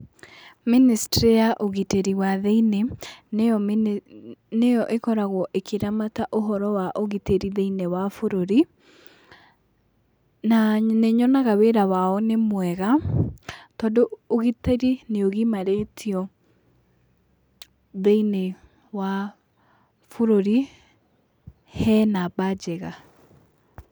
Ministry ya ũgitĩri wa thĩiniĩ, nĩyo ĩkoragwo ĩkĩramata ũhoro wa ũgitĩri thĩiniĩ wa bũrũri, na nĩnyonaga wĩra wao nĩmwega tondũ ũgitĩri nĩ ũgimarĩtio thĩiniĩ wa bũruri he namba njega